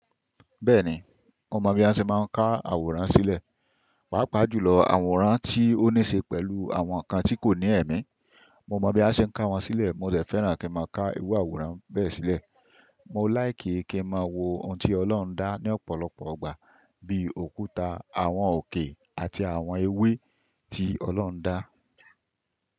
Bẹ́ẹ̀ ni, mo mọ̀ bí a ṣe máa ń ká àwòrán sílẹ̀, pàápàá jùlọ àwòrán tí ó níṣe pẹ̀lú àwọn ǹkan tí kò ní ẹ̀mí. Mo mọ bí a ṣe ń ká wọn sílẹ̀, mo sì fẹ́ràn kí n máa ká irú àwòrán bẹ́ẹ̀ sílẹ̀. Mo láìké kí n máa wo ohun tí Ọlọ́run dá ní ọ̀pọ̀lọpọ̀ igbà, bíi òkúta, àwọn òkè, àti àwọn ewé tí Ọlọ́run dá.